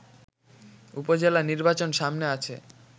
উপজেলা নির্বাচন সামনে আছে